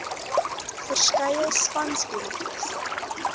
verskeie spanspe letjies